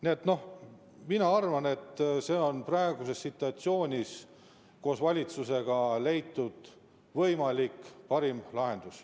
Nii et mina arvan, et see on praeguses situatsioonis koos valitsusega leitud parim võimalik lahendus.